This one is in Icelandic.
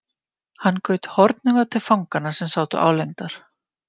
Hann gaut hornauga til fanganna sem sátu álengdar.